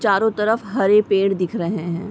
चारों तरफ हरे पेड़ दिख रहे हैं।